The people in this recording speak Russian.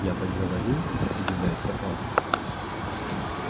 я так говорил удивляется папа